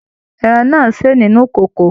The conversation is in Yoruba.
Ẹran náà n ṣe nínú ìkòkò.